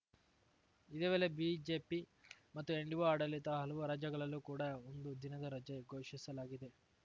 ಇದೇ ವೇಳೆ ಬಿಜೆಪಿ ಮತ್ತು ಎನ್‌ಡಿಓ ಆಡಳಿತ ಹಲವು ರಾಜ್ಯಗಳಲ್ಲೂ ಕೂಡಾ ಒಂದು ದಿನದ ರಜೆ ಘೋಷಿಸಲಾಗಿದೆ